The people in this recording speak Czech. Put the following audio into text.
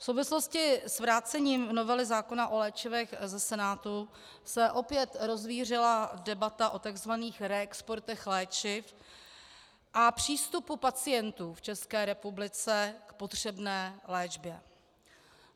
V souvislosti s vrácením novely zákona o léčivech ze Senátu se opět rozvířila debata o tzv. reexportech léčiv a přístupu pacientů v České republice k potřebné léčbě.